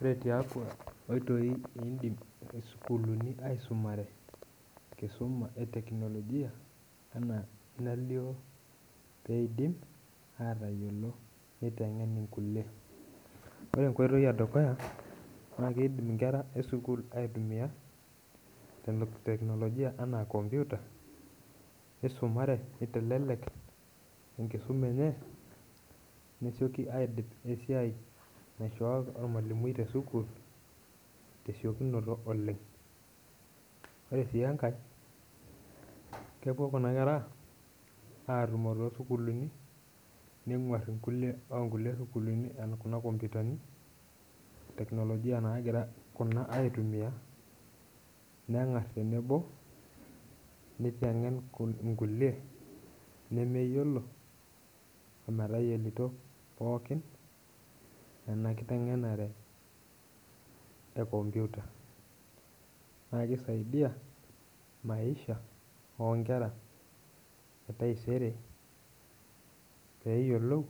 Ore tiatua inkoitoi naaidim isukuulini aisumare enkisuma e technologia peindim aatayiolo neiteng'en inkulie ore enkoitoi edukuya naaikidm inkera esukuul aitumiya technologia ena computer neisumare neitelelek enkisuma enye nesioki aidip esiai naaishoo ormalimui tesukuul tesiokinoto oleng ore sii enkae kepuo kuna kera aatumo toosukuulini neng'uar inkulie oonkulie sukuulini ena kuna computerni technologia naakira kuna aitumia neng'ar tenebo neiteng'en inkulie nemeyiolo ometayilito pookin ena kiteng'enare enkomputa naa keisaia maaissha etaisere peeyiolou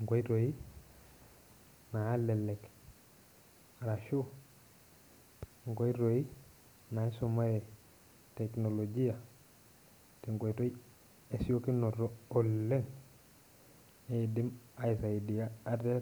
inkoitoi naalelek ashuu inkoitoi naishunare technologia tenkoitoi esiokinoto oleng neidim aisaidia ate.